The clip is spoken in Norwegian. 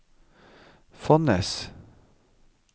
Fonnes